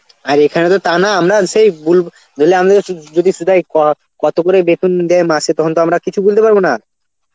আর এখানে তো তা না আমরা সেই বুল~ বলে আমিও সু~ যদি শুদায় তারা কত করে বেতন দেয় মাসে তখন তো আমরা কিছু বলতে পারব না